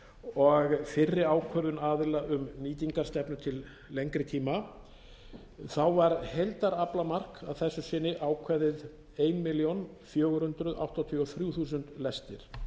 og fyrri ákvörðun aðila um nýtingarstefnu til lengri tíma var heildaraflamark að þessu sinni ákveðið eina milljón fjögur hundruð áttatíu og þrjú þúsund lestir